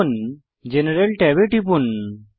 এখন জেনারেল ট্যাবে টিপুন